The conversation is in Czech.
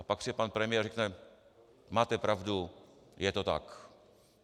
A pak přijde pan premiér a řekne: Máte pravdu, je to tak.